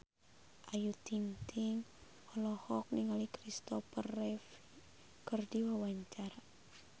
Ayu Ting-ting olohok ningali Kristopher Reeve keur diwawancara